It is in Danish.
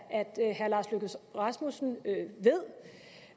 herre lars løkke rasmussen ved